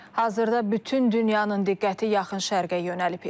Hazırda bütün dünyanın diqqəti yaxın şərqə yönəlib.